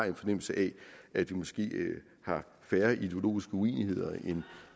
en fornemmelse af at vi måske har færre ideologiske uenigheder end